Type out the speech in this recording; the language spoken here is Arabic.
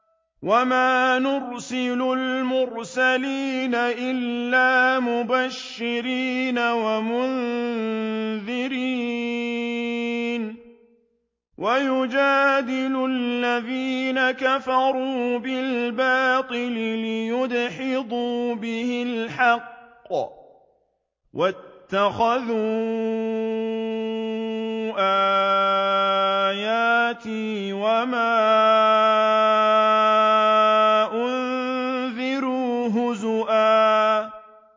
وَمَا نُرْسِلُ الْمُرْسَلِينَ إِلَّا مُبَشِّرِينَ وَمُنذِرِينَ ۚ وَيُجَادِلُ الَّذِينَ كَفَرُوا بِالْبَاطِلِ لِيُدْحِضُوا بِهِ الْحَقَّ ۖ وَاتَّخَذُوا آيَاتِي وَمَا أُنذِرُوا هُزُوًا